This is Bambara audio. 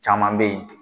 Caman bɛ yen